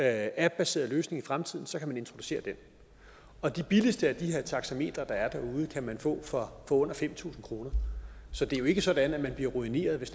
appbaseret løsning i fremtiden kan man introducere den og de billigste af de her taxametre der er derude kan man få for under fem tusind kr så det er ikke sådan at man bliver ruineret hvis